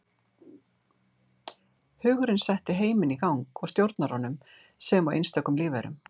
Hugurinn setti heiminn í gang og stjórnar honum sem og einstökum lífverum.